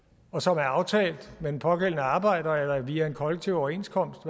og som er aftalt med den pågældende arbejder eller via en kollektiv overenskomst